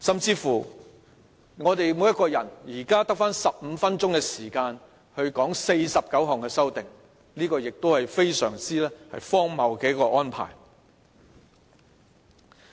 此外，我們每一個人現在只得15分鐘就49項修訂發言，這亦是非常荒謬的安排。